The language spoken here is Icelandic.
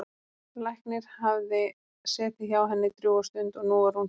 Læknir hafði setið hjá henni drjúga stund og nú var hún sofnuð.